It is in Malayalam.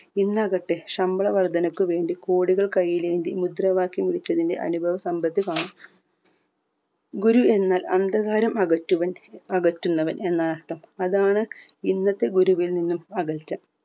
ഇന്നാകട്ടെ ശമ്പള വർധനക്ക് വെണ്ടി കോടികൾ കൈയിലേന്തി മുദ്രാവാക്യം വിളിച്ചതിന്റെ അനുഭവ സമ്പത്ത് കാണാം ഗുരു എന്നാൽ അന്ധകാരം അകറ്റുവൻ അകറ്റുന്നവൻ എന്ന അർഥം അതാണ് ഇന്നത്തെ ഗുരുവിൽ നിന്നും അകൽച്ച